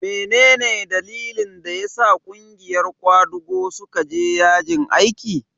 mene ne dalilin da ya sa ƙungiyar kwadago suka je yajin aiki?